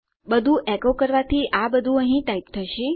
બધું એકો કરવાથી આ બધું અહીં ટાઈપ થશે